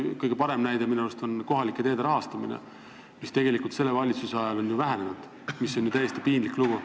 Kõige parem näide minu arust on kohalike teede rahastamine, mis tegelikult selle valitsuse ajal on vähenenud, mis on ju täiesti piinlik lugu.